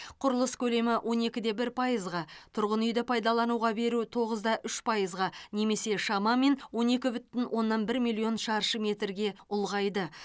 құрылыс көлемі он екі де бір пайызға тұрғын үйді пайдалануға беру тоғыз да үш пайызға немесе шамамен он екі бүтін оннан бір миллион шаршы метрге ұлғайды